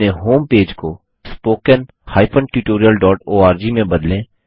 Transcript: अपने होमपेज को spoken tutorialओआरजी में बदलें